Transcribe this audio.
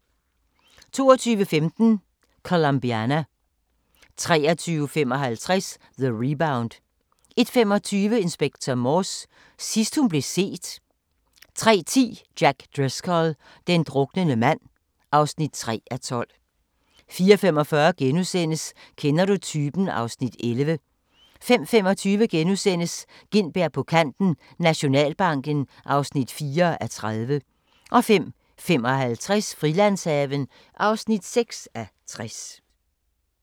22:15: Colombiana 23:55: The Rebound 01:25: Inspector Morse: Sidst hun blev set 03:10: Jack Driscoll – den druknende mand (3:12) 04:45: Kender du typen? (Afs. 11)* 05:25: Gintberg på kanten - Nationalbanken (4:30)* 05:55: Frilandshaven (6:60)